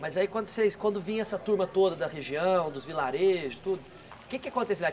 Mas aí quando vocês quando vinha essa turma toda da região, dos vilarejos, tudo, o que é que acontecia?